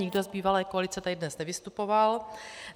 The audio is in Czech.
Nikdo z bývalé koalice tady dnes nevystupoval.